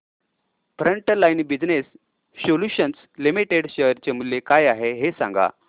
frontline business solutions limited share चे मूल्य काय आहे हे सांगा